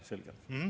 Selge.